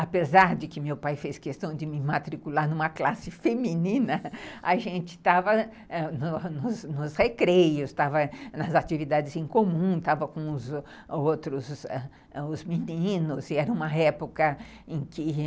apesar de que meu pai fez questão de me matricular numa classe feminina, a gente estava nos recreios, estava nas atividades em comum, estava com os os outros meninos e era uma época em que